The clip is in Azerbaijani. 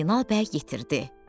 Zeynəb bəy yetirdi.